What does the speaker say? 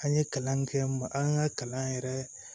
An ye kalan kɛ ma an ka kalan yɛrɛ